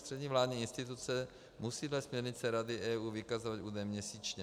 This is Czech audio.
Ústřední vládní instituce musí dle směrnice Rady EU vykazovat údaje měsíčně.